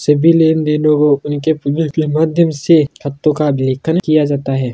सभी लेन देनो को उनके पेमेंट के माध्यम से हफ्तों का अभिलेखन किया जाता है।